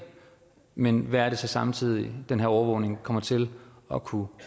men hvad er det så samtidig den her overvågning kommer til at kunne